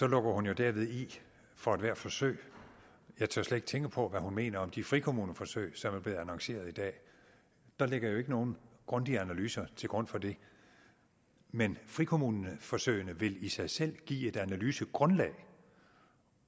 lukker hun jo derved i for ethvert forsøg jeg tør slet ikke tænke på hvad hun mener om de frikommuneforsøg som er blevet annonceret i dag der ligger jo ikke nogen grundige analyser til grund for dem men frikommuneforsøgene vil i sig selv give et analysegrundlag